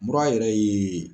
Ura yɛrɛ ye.